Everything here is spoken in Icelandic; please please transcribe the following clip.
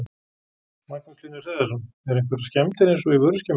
Magnús Hlynur Hreiðarsson: Eru einhverjar skemmdir eins og í vöruskemmunni?